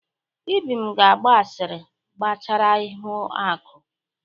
Ibim ga agba asịrị gbasara ihuaku.